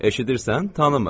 Eşidirsən, tanımır.